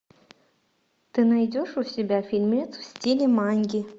ты найдешь у себя фильмец в стиле манги